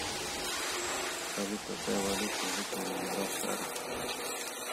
салют какая валюта у жителей гибралтара